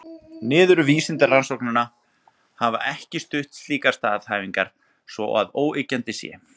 Niðurstöður vísindarannsókna hafa ekki stutt slíkar staðhæfingar svo að óyggjandi sé.